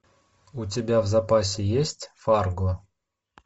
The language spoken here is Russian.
у тебя в запасе есть фарго